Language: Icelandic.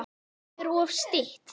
Nafnið er oft stytt.